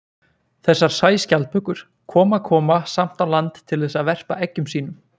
Þessar sæskjaldbökur koma koma samt á land til þess að verpa eggjum sínum.